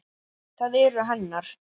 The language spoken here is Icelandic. Það eru hennar.